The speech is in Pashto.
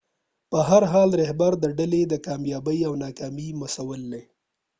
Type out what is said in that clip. په هر حال رهبر د ډلې د کامیابۍ او ناکامۍ مسؤل دی